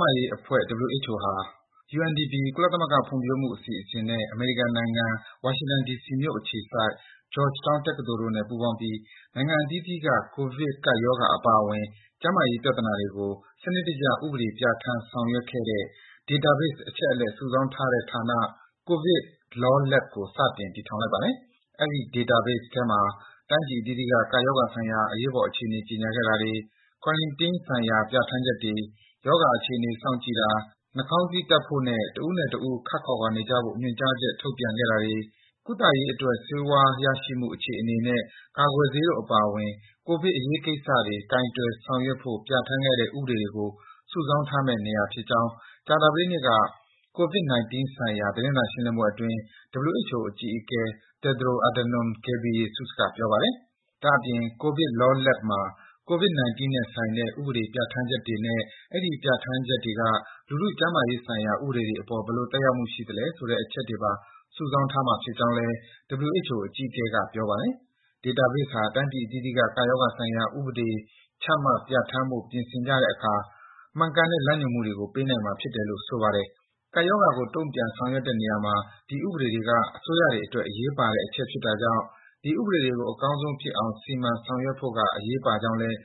မာရေးအဖွဲ့ WHO ဟာ UNDP ကုလသမဂ္ဂဖွံ့ဖြိုးမှုအစီအစဉ်နဲ့ အမေရိကန်နိုင်ငံ၊ ဝါရှင်တန် ဒီစီမြို့အခြေစိုက် Georgetown တက္ကသိုလ်တို့နဲ့ ပူးပေါင်းပြီး နိုင်ငံအသီးသီးက ကိုဗစ် ကပ်ရောဂါ အပါအဝင် ကျန်းမာရေးပြဿနာတွေကို စနစ်တကျ ဥပဒေပြဌာန်း ဆောင်ရွက်ခဲ့တဲ့ Database အချက်အလက် စုဆောင်းထားတဲ့ဌာန COVID Law Lab ကို စတင် တည်ထောင်လိုက်ပါတယ်။ အဲဒီ Database ထဲမှာ တိုင်းပြည်အသီးသီးက ကပ်ရောဂါဆိုင်ရာ အရေးပေါ် အခြေအနေ ကြေညာခဲ့တာ၊ Quarantine ဆိုင်ရာ ပြဌာန်းချက်တွေ၊ ရောဂါအခြေအနေ စောင့်ကြည့်တာ၊ နှာခေါင်းစည်းတပ်ဖို့ တဦးနဲ့တဦး ခပ်ခွာခွာနေကြဖို့ ညွန်ကြားချက် ထုတ်ပြန်ခဲ့တာ၊ ကုသရေးအတွက် ဆေးဝါးရရှိမှု အခြေအနေနဲ့ ကာကွယ်ဆေးတို့ အပါအဝင် ကိုဗစ် အရေးကိစ္စတွေ ကိုင်တွယ်ဆောင်ရွက်ဖို့ ပြဌာန်းခဲ့တဲ့ ဥပဒေတွေကို စုဆောင်းထားမယ့် နေရာဖြစ်ကြောင်း ကြာသပတေးနေ့က ကိုဗစ် ၁၉ ဆိုင်ရာ သတင်းစာရှင်းလင်းပွဲအတွင်း WHO အကြီးအကဲ Tedros Adhanom Ghebreyesus က ပြောပါတယ်။ ဒါ့အပြင် ဒီ COVID Law Lab မှာ ကိုဗစ် ၁၉ နဲ့ဆိုင်တဲ့ ဥပဒေပြဌာန်းချက်တွေနဲ့ အဲဒီ ပြဌာန်းချက်တွေက လူထုကျန်းမာရေးဆိုင်ရာ ဥပဒေတွေအပေါ် ဘယ်လို သက်ရောက်မှု ရှိသလဲဆိုတဲ့ အချက်တွေပါ စုဆောင်းထားမှာဖြစ်ကြောင်းလည်း WHO အကြီးအကဲက ပြောပါတယ်။ ဒီ Database ဟာ တိုင်းပြည်အသီးသီးက ကပ်ရောဂါဆိုင်ရာ ဥပဒေတွေ ချမှတ် ပြဌာန်းဖို့ ပြင်ဆင်ကြတဲ့အခါ မှန်ကန်တဲ့ လမ်းညွန်မှုတွေကို ပေးနိုင်မှာဖြစ်တယ်လို့ ဆိုပါတယ်။ ကပ်ရောဂါကို တုံ့ပြန်ဆောင်ရွက်တဲ့နေရာမှာ ဒီဥပဒေတွေက အစိုးရတွေအတွက် အရေးပါတဲ့ အချက်ဖြစ်တာကြောင့် ဒီဥပဒေတွေကို အကောင်းဆုံးဖြစ်အောင် စီမံဆောင်ရွက်ဖို့က အရေးပါကြောင်းလည်း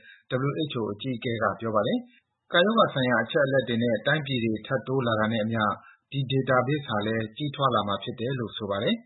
WHO အကြီးအကဲက ပြောပါတယ်။ ကပ်ရောဂါဆိုင်ရာ အချက်အလက်တွေနဲ့ တိုင်းပြည်တွေ ထပ်တိုးလာတာနဲ့အမျှ ဒီ Database ဟာလည်း ကြီးထွားလာမှာဖြစ်တယ်လို့ ဆိုပါတယ်။